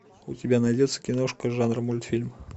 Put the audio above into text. у тебя найдется киношка жанра мультфильм